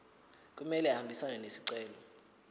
kumele ahambisane nesicelo